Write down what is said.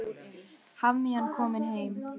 Hafmeyjan komin heim